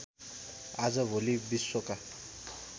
आजभोलि विश्वका